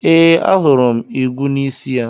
Ee, ahụrụ m igwu n'isi ya.